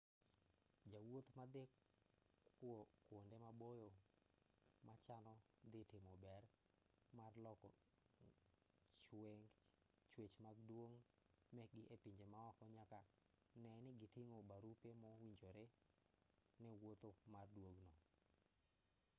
jowuoth madhi kwonde maboyo machano dhi timo bero mar loko chwech mag duong' mekgi e pinje maoko nyaka nee ni giting'o barupe mowinjore ne wuoth mar duogo